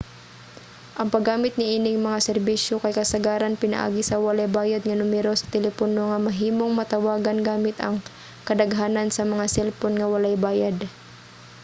ang paggamit niining mga serbisyo kay kasagaran pinaagi sa walay bayad nga numero sa telepono nga mahimong matawagan gamit ang kadaghanan sa mga selpon nga walay bayad